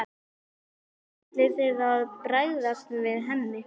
Hvernig ætlið þið að bregðast við henni?